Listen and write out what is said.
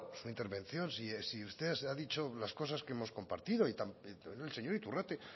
su intervención si usted ha dicho las cosas que hemos compartido también el señor iturrate